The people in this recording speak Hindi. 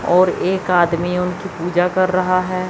और एक आदमी उनकी पूजा कर रहा है।